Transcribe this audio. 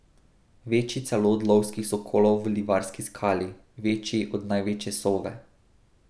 Večji celo od lovskih sokolov v Livarski skali, večji od največje sove.